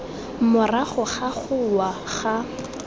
morago ga go wa ga